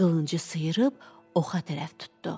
Qılıncı sıyırıb oxa tərəf tutdu.